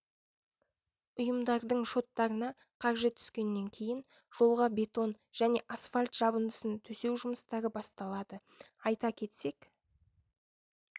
ұйымдардың шоттарына қаржы түскеннен кейін жолға бетон және асфальт жабындысын төсеу жұмыстары басталады айта кетсек